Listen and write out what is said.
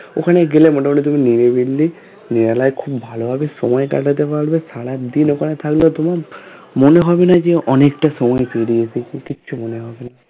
ওখানে গেলে মোটামুটি তুমি নিরিবিলি যারা খুব ভালো ভাবে সময় কাটাতে পারবে সারাদিন ওখানে থাকলে তোমার মনে হবে না যে অনেকটা সময় পেরিয়ে এসেছি কিছু মনে হবে না